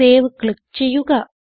save click ചെയ്യുക